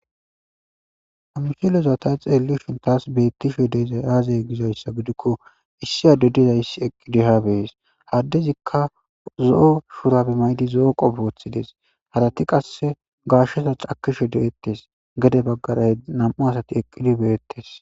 Ha missileza ta xelashshin tas betishe dizay aze gizayissa gidikko issi adey dizayissi eqidi ha be'es ha adezikka zo'o shurabe mayidi zo'o qofe woththides harati qase gashsheza cakishshe de'etes gede bagara nam'u asati eqidi be'etes